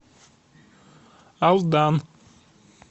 алдан